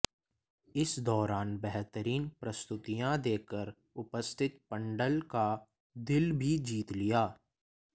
इस दौरान बेहतरीन प्रस्तुतियां देकर उपस्थित पंडाल का दिल भी जीत लिया